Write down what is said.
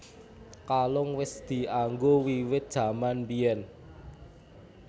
Kalung wis dianggo wiwit jaman biyén